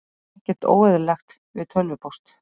Ekkert óeðlilegt við tölvupóst